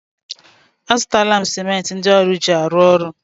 A zụtala m simenti ndị ọrụ ji arụ ọrụ.